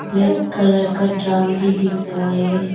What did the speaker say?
Black colour का drum भी दिख रहा है।